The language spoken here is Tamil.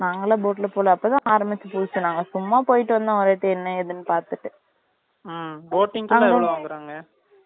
boating போறதுக்கு எவ்ளோ வாங்குறாங்க